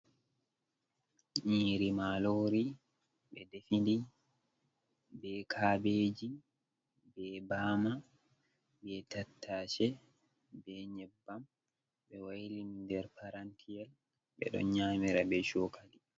Nyiiri maaroori ɓe defi ndi, be kabeeji, be baama, be tattace, be nyebbam, ɓe wayli ndi nder parantiyel, ɓe ɗon nyaamira be cookali.